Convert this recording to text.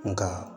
Nga